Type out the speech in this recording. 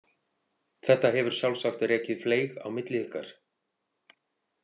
Þetta hefur sjálfsagt rekið fleyg á milli ykkar.